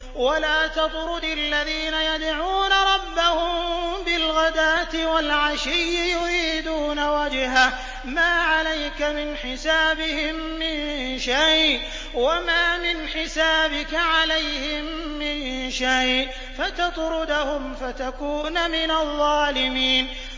وَلَا تَطْرُدِ الَّذِينَ يَدْعُونَ رَبَّهُم بِالْغَدَاةِ وَالْعَشِيِّ يُرِيدُونَ وَجْهَهُ ۖ مَا عَلَيْكَ مِنْ حِسَابِهِم مِّن شَيْءٍ وَمَا مِنْ حِسَابِكَ عَلَيْهِم مِّن شَيْءٍ فَتَطْرُدَهُمْ فَتَكُونَ مِنَ الظَّالِمِينَ